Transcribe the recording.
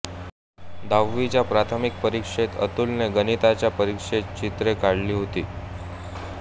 दहावीच्या प्राथमिक परीक्षेत अतुलने गणिताच्या परीक्षेत चित्रे काढली होती